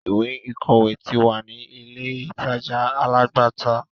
Ìwé-ìwọlé ti wà ní ilé-ìtàja alágbàtà.